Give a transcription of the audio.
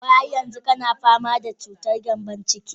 Wai har yanzu kana fama da cutar gembon ciki?